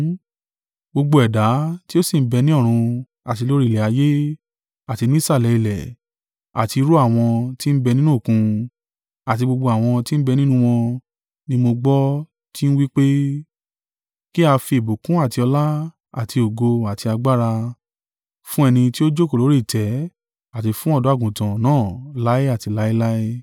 Gbogbo ẹ̀dá tí o sì ń bẹ ni ọ̀run, àti lórí ilẹ̀ ayé, àti nísàlẹ̀ ilẹ̀ àti irú àwọn tí ń bẹ nínú Òkun, àti gbogbo àwọn tí ń bẹ nínú wọn, ni mo gbọ́ tí ń wí pé, “Kí a fi ìbùkún àti ọlá, àti ògo, àti agbára, fún Ẹni tí ó jókòó lórí ìtẹ́ àti fún Ọ̀dọ́-àgùntàn